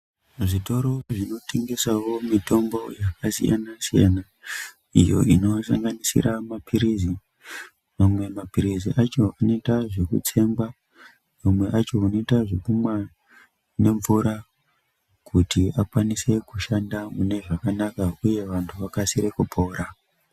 Muzvitoro zvinotengesawo mitombo yakasiyana siyana iyoo inosanganisira maphirizi mamwe maphirizi acho anoita zvekutsengwa amwe acho anoita zvekumwa nemvura kuti akwanise kushanda mune zvakanaka uye vantu vakasire kupora.